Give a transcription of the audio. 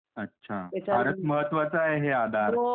अच्छा, फारच महत्वाचा आहे हे आधार.